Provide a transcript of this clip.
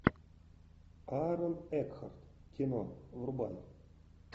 аарон экхарт кино врубай